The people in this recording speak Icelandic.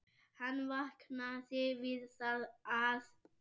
Hann vaknaði við það að